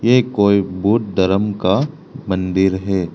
ये कोई बुद्ध धर्म का मंदिर है।